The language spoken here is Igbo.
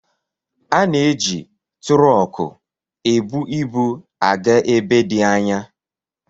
Ana-eji tụrọkụ ebu ibu aga ebe dị anya